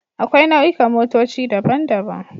Akwai nau'ikan motoci daban-daban